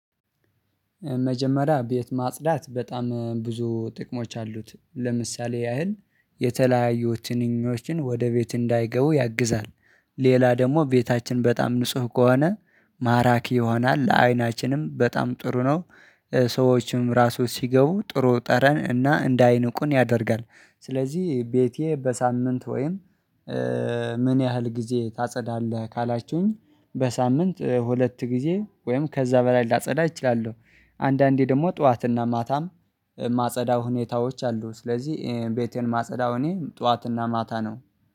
መጀመሪያ ቤት ማጽዳት በጣም ብዙ ጥቅሞች አሉት ለምሳሌ ያህል የተለያዩት ትንኞችን ወደ ቤት እንዳይገቡ ያግዛል። ሌላ ደግሞ ቤታችን በጣም ንጹህ ከሆነ ማራኪ ይሆናል ለአይናችንም በጣም ጥሩ ነው። ሰዎችም ራሱ ሲገቡ ጥሩ ጠረን እና እንደ አይን ቁን ያደርጋል። ስለዚህ ቤቴ በሳምንት ወይም ምን ያህል ጊዜ ታጸዳለህ ካላችሁኝ? በሳምንት ሁለት ጊዜ ወይም ከዛ በላይ ላጸዳ እችላለሁ። አንዳንዴ ደግሞ ጥዋትና ማታም ማጸዳው ሁኔታዎች አሉ። ስለዚህ ቤቴን ማጸዳው እኔ ጥዋትና ማታ ነው